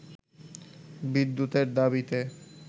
বিদ্যুতের দাবিতে